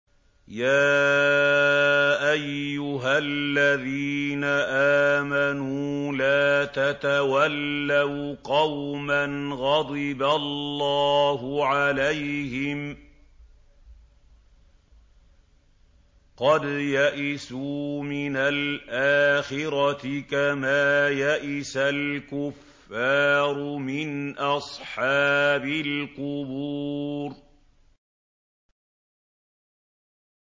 يَا أَيُّهَا الَّذِينَ آمَنُوا لَا تَتَوَلَّوْا قَوْمًا غَضِبَ اللَّهُ عَلَيْهِمْ قَدْ يَئِسُوا مِنَ الْآخِرَةِ كَمَا يَئِسَ الْكُفَّارُ مِنْ أَصْحَابِ الْقُبُورِ